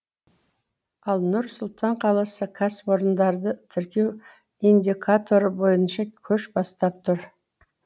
ал нұр сұлтан қаласы кәсіпорындарды тіркеу индикаторы бойынша көш бастап тұр